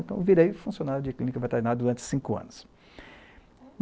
Então eu virei funcionário de clínica veterinária durante cinco anos.